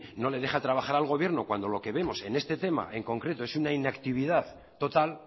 no le deja trabajar al gobierno cuando lo que vemos en este tema en concreto es una inactividad total